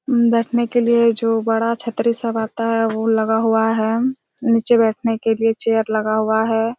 बैठने के लिए जो बड़ा छत्री-सा रहता हैं वो लगा हुआ हैं नीचे बैठने के लिए चेयर लगा हुआ हैं ।